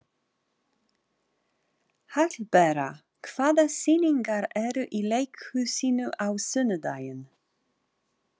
Hallbera, hvaða sýningar eru í leikhúsinu á sunnudaginn?